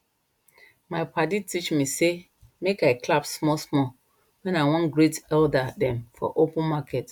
my padi teach me say make i clap smallsmall when i wan greet elder dem for open market